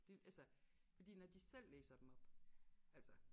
Det altså fordi når de selv læser dem op altså